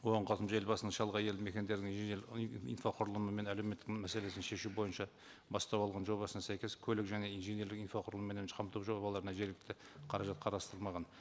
оған қосымша елбасының шалғай елді мекендердің инфрақұрылымы менен әлеуметтік мәселесін шешу бойынша бастау алған жобасына сәйкес көлік және инженерлік инфрақұрылымменен қамту жобаларына жергілікті қаражат қарастырылмаған